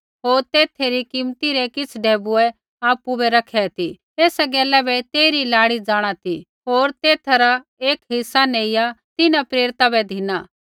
होर तेथै री कीमती रै किछ़ ढैबुऐ आपु बै रखै ती एसा गैला बै तेइरी लाड़ी जाँणा ती होर तेथा रा एक हिस्सा नेइआ तिन्हां प्रेरिता बै धिना